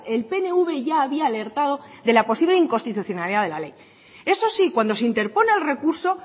el pnv ya había alertado de la posible inconstitucionalidad de la ley eso sí cuando se interpone el recurso